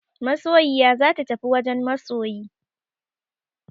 Masoyiya za ta tafi wajen masoyi.